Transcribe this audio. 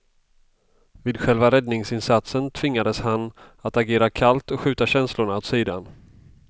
Vid själva räddningsinsatsen tvingades han att agera kallt och skjuta känslorna åt sidan.